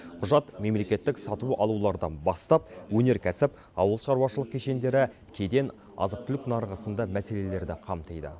құжат мемлекеттік сатып алулардан бастап өнеркәсіп ауылшаруашылық кешендері кеден азық түлік нарығы сынды мәселелерді қамтиды